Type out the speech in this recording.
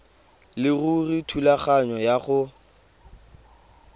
leruri thulaganyo ya go